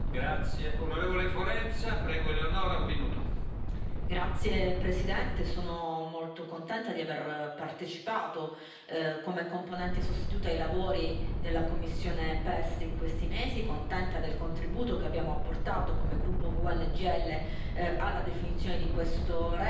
Signor Presidente, onorevoli colleghi, sono molto contenta di aver partecipato come componente sostituta ai lavori della commissione PEST in questi mesi, contenta del contributo che abbiamo apportato come gruppo GUE NGL alla definizione di questa relazione e anche soddisfatta della votazione